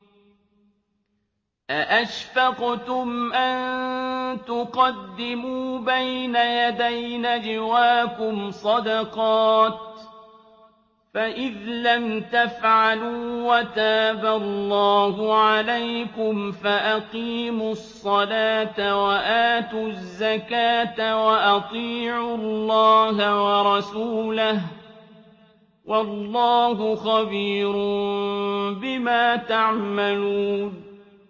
أَأَشْفَقْتُمْ أَن تُقَدِّمُوا بَيْنَ يَدَيْ نَجْوَاكُمْ صَدَقَاتٍ ۚ فَإِذْ لَمْ تَفْعَلُوا وَتَابَ اللَّهُ عَلَيْكُمْ فَأَقِيمُوا الصَّلَاةَ وَآتُوا الزَّكَاةَ وَأَطِيعُوا اللَّهَ وَرَسُولَهُ ۚ وَاللَّهُ خَبِيرٌ بِمَا تَعْمَلُونَ